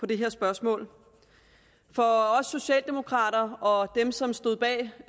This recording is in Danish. det her spørgsmål for os socialdemokrater og dem som stod bag